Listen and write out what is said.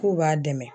K'u b'a dɛmɛ